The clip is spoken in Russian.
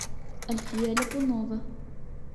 альфия липунова